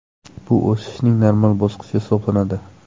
Bu o‘sishning normal bosqichi hisoblanadi.